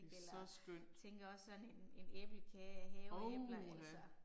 Det så skønt. Ov ha